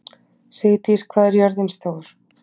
Sigdís, hvað er jörðin stór?